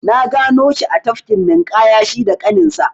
Na gano shi a tafkin ninƙaya shi da ƙaninsa.